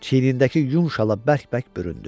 Çiynindəki yun şala bərk-bərk büründü.